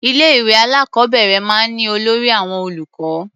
Ilé-ìwé alákọ̀ọ́bẹ̀rẹ̀ máa ń ní olórí àwọn olùkọ́.